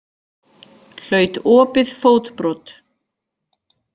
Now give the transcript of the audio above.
Hlaut opið fótbrot